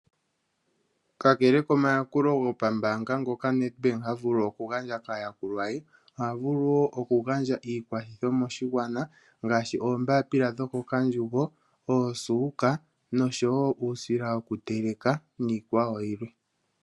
Ka kele komayakulo gopambanga ngoka Nedbank ha vulu oku gandja ka ya kulwa ye, oha vulu wo oku gandja iikwathitho moshigwana ngashi oombapila dhoko kandjugo, oosuka noshowo uusila niikwawo yilwe.